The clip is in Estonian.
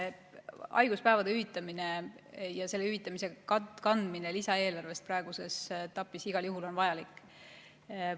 Haiguspäevade hüvitamine ja selle hüvitamise katmine lisaeelarvest praeguses etapis on igal juhul vajalik.